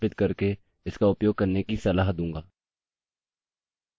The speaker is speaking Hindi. अब हम नया डेटाबेस बनायेंगे